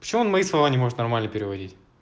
почему он мои слова не может нормально переводить